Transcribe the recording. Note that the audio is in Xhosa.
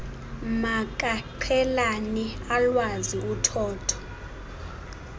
makaqhelane alwazi uthotho